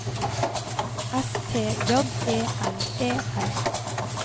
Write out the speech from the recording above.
S T J E L E R